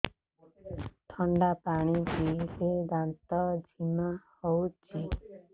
ଥଣ୍ଡା ପାଣି ପିଇଲେ ଦାନ୍ତ ଜିମା ହଉଚି